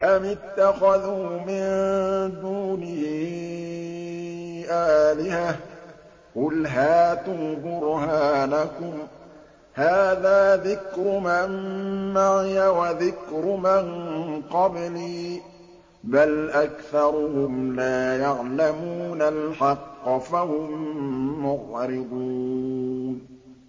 أَمِ اتَّخَذُوا مِن دُونِهِ آلِهَةً ۖ قُلْ هَاتُوا بُرْهَانَكُمْ ۖ هَٰذَا ذِكْرُ مَن مَّعِيَ وَذِكْرُ مَن قَبْلِي ۗ بَلْ أَكْثَرُهُمْ لَا يَعْلَمُونَ الْحَقَّ ۖ فَهُم مُّعْرِضُونَ